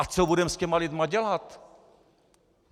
A co budeme s těmi lidmi dělat?